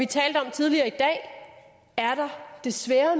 talt om tidligere i dag desværre